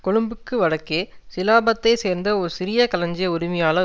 கொழும்புக்கு வடக்கே சிலாபத்தைச் சேர்ந்த ஒரு சிறிய களஞ்சிய உரிமையாளர்